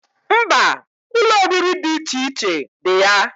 Mba, Ụlọ oriri di iche iche di ya